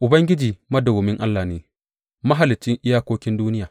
Ubangiji madawwamin Allah ne, Mahaliccin iyakokin duniya.